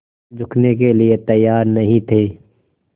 झुकने के लिए तैयार नहीं थे